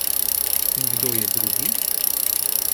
In kdo je drugi?